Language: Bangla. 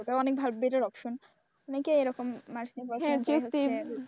ওটাও অনেক better option অনেকেই এরকম arts নিয়ে পড়াশোনা করে হচ্ছে